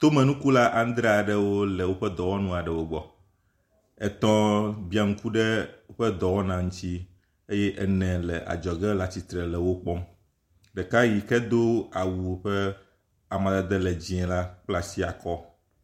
Tomenukula adreaɖewo le wóƒe dɔwɔnuwo gbɔ etɔ̃ biaŋku ɖe wóƒe dɔwɔna ŋtsi eye ene le adzɔge le atsitsre le wokpɔm ɖeka yike dó awu ƒe amadede le dzĩe la kplaasiakɔ